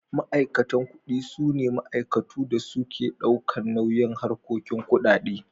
Ma'aikatan ƙudi sune Ma'aikatu da suke daukan nauyin harkoki ƙudade.